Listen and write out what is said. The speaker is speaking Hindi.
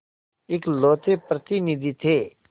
इकलौते प्रतिनिधि थे